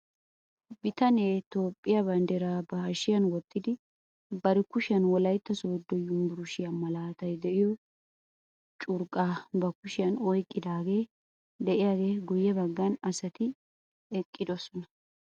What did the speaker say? Bitanee Toophiya banddira ba hashshiyan wottidi bari kushiyan Wolaytta Sooddo Yunbburshshiya malaata de'iyo curqqaa ba kushiyan oyqqidaage de'iyaagappe guyye baggan asati eqqidoosona.